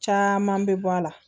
Caman bɛ bɔ a la